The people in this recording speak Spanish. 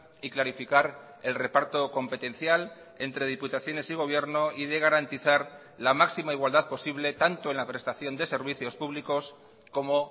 y clarificar el reparto competencial entre diputaciones y gobierno y de garantizar la máxima igualdad posible tanto en la prestación de servicios públicos como